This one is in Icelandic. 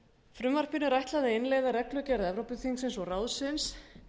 frumvarpinu er ætlað að innleiða reglugerð evrópuþingsins og ráðsins